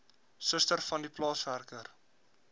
suster vandie plaaswerker